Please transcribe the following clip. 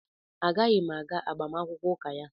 A ga-yim aga agbamakwụkwọ ụka ya.